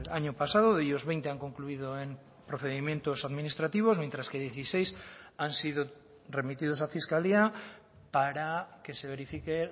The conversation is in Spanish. año pasado de ellos veinte han concluido en procedimientos administrativos mientras que dieciséis han sido remitidos a fiscalía para que se verifique